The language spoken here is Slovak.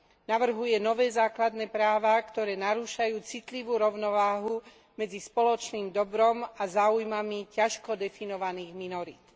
Navrhuje nové základné práva, ktoré narúšajú citlivú rovnováhu medzi spoločným dobrom a záujmami ťažko definovaných minorít.